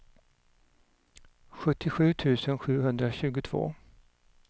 sjuttiosju tusen sjuhundratjugotvå